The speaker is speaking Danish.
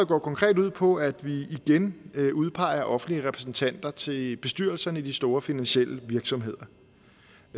konkret ud på at vi igen udpeger offentlige repræsentanter til bestyrelserne i de store finansielle virksomheder